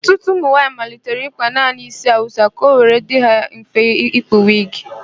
Ọtụtụ ụmụnwaayị malitere ịkpa naanị ísí Awụsa ka ọ were dịrị ha mfe ikpu wigi.